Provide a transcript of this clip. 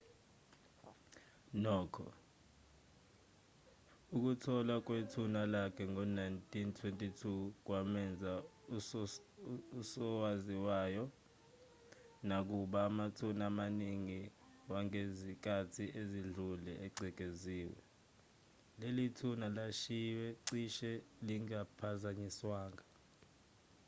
nokho ukutholwa kwethuna lakhe ngo-1922 kwamenza usowaziwayo nakuba amathuna amaningi wangezikhathi ezidlule egcekeziwe leli thuna lalishiywe cishe lingaphazanyiswanga